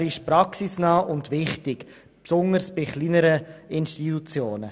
Sie ist praxisnah und wichtig, besonders für kleinere Institutionen.